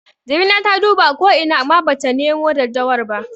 Jamila ta duba ko ina amma bata nemo daddawar ba.